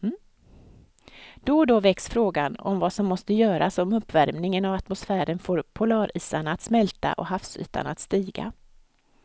Då och då väcks frågan om vad som måste göras om uppvärmingen av atmosfären får polarisarna att smälta och havsytan att stiga.